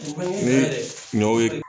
Ni ɲɔn ye